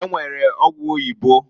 E nwere ọgwụ oyibo.